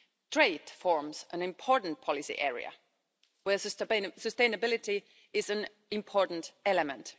Trade forms an important policy area where sustainability is an important element.